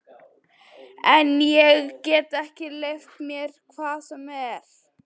En ég get ekki leyft mér hvað sem er!